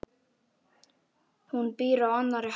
Hún býr á annarri hæð.